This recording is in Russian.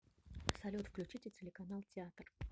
салют включите телеканал театр